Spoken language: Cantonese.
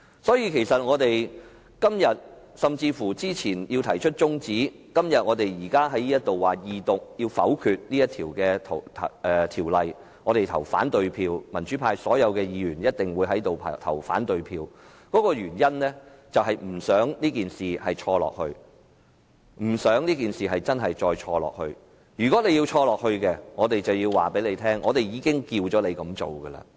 所以，我們較早前提出中止待續議案，而現時在這裏表示要否決《條例草案》二讀，民主派所有議員一定會對此投反對票，原因是我們不想這件事一直錯下去，如果他們要一直錯下去，我們就要告訴他們，我們已經提醒他們不要這樣做。